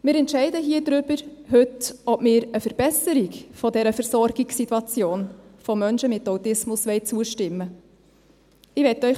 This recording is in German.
Wir entscheiden hier heute darüber, ob wir eine Verbesserung dieser Versorgungssituation von Menschen mit Autismus zustimmen wollen.